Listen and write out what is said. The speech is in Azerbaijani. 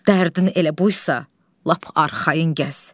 Dərdin elə buysa, lap arxayın gəz.